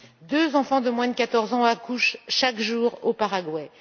deux enfants de moins de quatorze ans accouchent chaque jour au Paraguay.